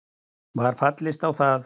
Var fallist á það